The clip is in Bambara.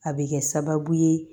A bɛ kɛ sababu ye